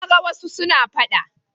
Na ga wasu suna faɗa.